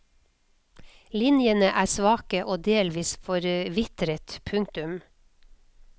Linjene er svake og delvis forvitret. punktum